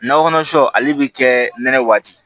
Nakɔ kɔnɔ sɔ ale bɛ kɛ nɛnɛ waati